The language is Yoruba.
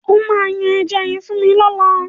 O máa yan ẹja yẹn fún mi lọ́làá.